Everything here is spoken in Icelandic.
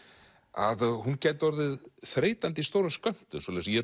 að hún gæti orðið þreytandi í stórum skömmtum svoleiðis að ég